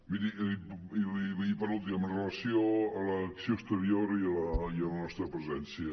miri i per últim amb relació a l’acció exterior i a la nostra presència